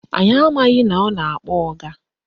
Anyị amaghị na ọ na-akpọ ọga